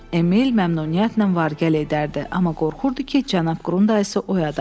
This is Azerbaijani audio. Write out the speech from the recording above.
Emil məmnuniyyətlə var-gəl edərdi, amma qorxurdu ki, cənab Qrundaysı oyada.